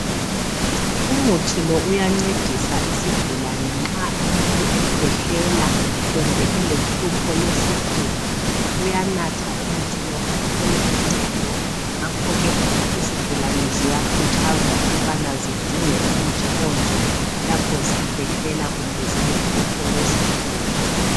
Umuthi lo uyancedisa isigulane nxa umuntu ekwehlela kumbe elehlupho lwesifuba. Uyanatha umuthi lo athole uncedo ngakhoke izigulane ziyakhuthazwa ukubana zidinge umuthi onje lapho zikwehlela kumbe zilohlupho lwesifuba.